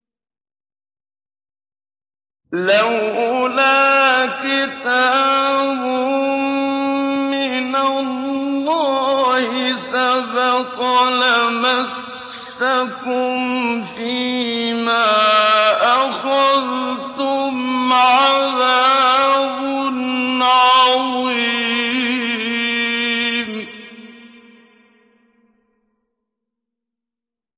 لَّوْلَا كِتَابٌ مِّنَ اللَّهِ سَبَقَ لَمَسَّكُمْ فِيمَا أَخَذْتُمْ عَذَابٌ عَظِيمٌ